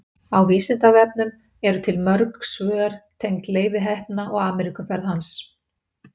Á Vísindavefnum eru til mörg svör tengd Leifi heppna og Ameríkuferð hans.